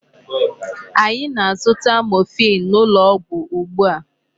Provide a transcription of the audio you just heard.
Anyị na-azụta morphine n'ụlọ ọgwụ ugbu a.